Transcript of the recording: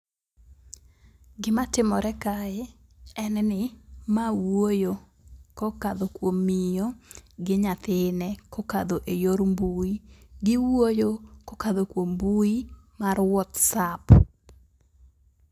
Gima timore kae en ni mae wuoyo kokadho kuom miyo gi nyathine kokadho e yor mbui. Giwuoyo kokadho kuom mbui mar whatsapp.